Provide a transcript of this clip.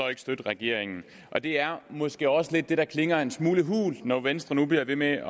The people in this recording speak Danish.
vil støtte regeringen det er måske også lidt det der klinger en smule hult når venstre nu bliver ved med